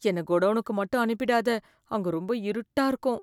என்னை கோடோவுனுக்கு மட்டும் அனுப்பிடாத, அங்க ரொம்ப இருட்டா இருக்கும்.